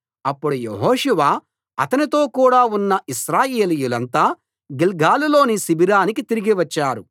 అప్పుడు యెహోషువ అతనితో కూడా ఉన్న ఇశ్రాయేలీయులంతా గిల్గాలులోని శిబిరానికి తిరిగి వచ్చారు